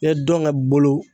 I ye dɔnkɛ bolo